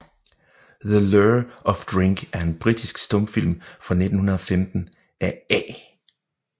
The Lure of Drink er en britisk stumfilm fra 1915 af A